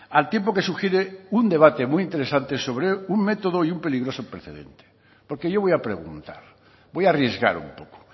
al tiempo que sugiere un debate muy interesante sobre un método y un peligroso precedente porque yo voy a preguntar voy a arriesgar un poco